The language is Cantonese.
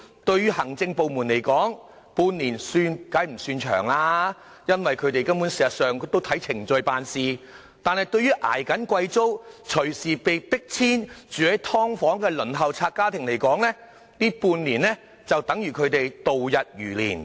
對行政部門來說，半年算不上是長，因為他們按程序辦事，但對於在負擔高昂租金，隨時被迫遷及居於"劏房"的輪候冊家庭來說，這半年簡直度日如年。